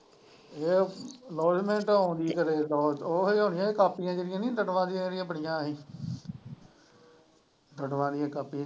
ਉਹ announcement ਹੋਣ ਦੀ ਹੈ ਉਹੀ ਹੋਣੀ ਹੈ ਕਾਪੀਆਂ ਜਿਹੜੀਆਂ ਹੀ ਨਾ ਬੜੀਆਂ ਹੀ ਕਾਪੀ।